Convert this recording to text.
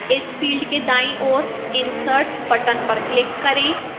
इस field के दाईं ओर insert button पर click करें